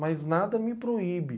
Mas nada me proíbe.